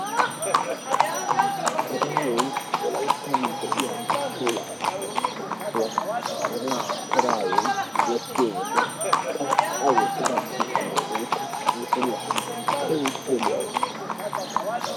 Sagayyoy Wolayttan de'iya puula miishshatuppe issuwaa. Hagee sagayyoy wottiyo wode, qa a wottida bitanee woykko mishiriyaa keehippe lo"awusu.